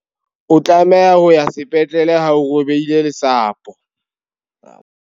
O tlameha ho ya sepetlele ha o robehile lesapo.